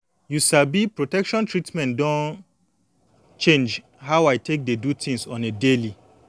you sabi protection treatment don change how i take dey do things on a daily